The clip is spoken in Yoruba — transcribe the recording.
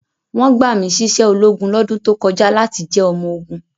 Wọ́n gbà mí síṣẹ́ ológun lọ́dún tó kọjá láti jẹ́ ọmọ ogun.